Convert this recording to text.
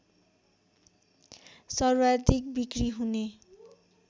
सर्वाधिक बिक्रि हुने